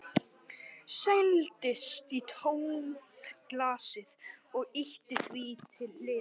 Seildist í tómt glasið og ýtti því til hliðar.